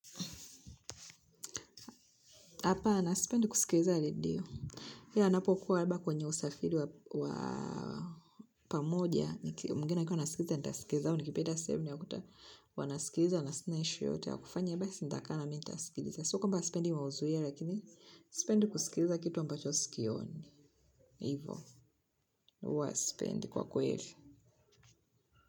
Hapana sipendi kusilikiza redio. Ila, ninapokuwa labda kwenye usafiri wa pamoja. Mwingina akiwa anasikiza nitasikiza au nikipita sehemu ya kuta wanasikiza. Na sina issue yoyote ya kufanya. Basi nitakaa, mi nitasikiliza. Siyo kwamba sipendi uwazuie. Lakini sipendi kusikiliza kitu ambacho sikioni. Hivo, huwa sipendi kwa kweli.